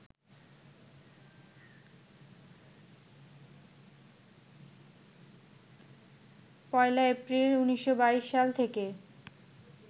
১লা এপ্রিল, ১৯২২ থেকে